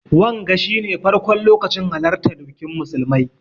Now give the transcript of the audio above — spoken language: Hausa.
Wanga shi ne farkon lokacin halartan bikin musulmai.